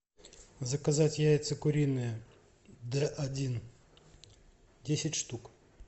заказать яйца куриные д один десять штук